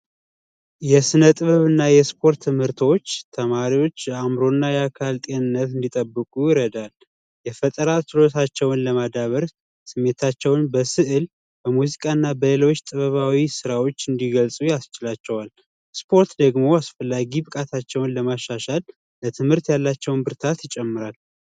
የስነጥበብና የስፖርት ትምህርቶች ተማሪዎች የአዕምሮና የአካል ጤንነት እንዲጠብቁ ይረዳል የፈተናቸውን ለማዳበርካታቸውን በስዕል በሙዚቃና ጥበባዊ ስራዎች እንዲገዙ ያስፖርት ደግሞ ለማሻሻል ለትምህርት ያላቸውን ብርታት ይጨምራል።